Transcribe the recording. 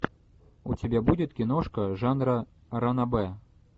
у тебя будет киношка жанра ранобэ